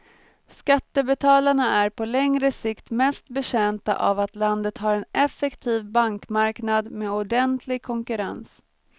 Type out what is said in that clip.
Skattebetalarna är på längre sikt mest betjänta av att landet har en effektiv bankmarknad med ordentlig konkurrens.